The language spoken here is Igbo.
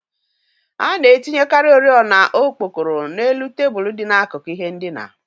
A na-etinyekarị oriọna okpokoro n'elu tebụl dị n'akụkụ ihe ndina